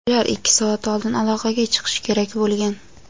Ular ikki soat oldin aloqaga chiqishi kerak bo‘lgan.